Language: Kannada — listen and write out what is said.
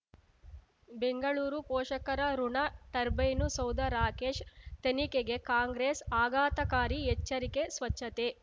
ಬೆಂಗಳೂರು ಪೋಷಕರಋಣ ಟರ್ಬೈನು ಸೌಧ ರಾಕೇಶ್ ತನಿಖೆಗೆ ಕಾಂಗ್ರೆಸ್ ಆಘಾತಕಾರಿ ಎಚ್ಚರಿಕೆ ಸ್ವಚ್ಛತೆ